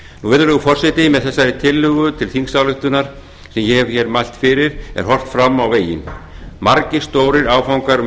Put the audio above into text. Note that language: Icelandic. virðulegur forseti með þessari tillögu til þingsályktunar sem ég hef hér mælt fyrir er horft fram á veginn margir stórir áfangar